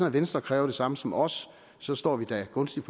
at venstre kræver det samme som os så står vi da gunstigt